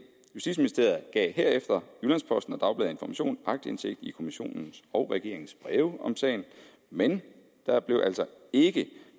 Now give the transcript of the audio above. justitsministeriet gav herefter jyllands posten og dagbladet information aktindsigt i kommissionens og regeringens breve om sagen men der blev altså ikke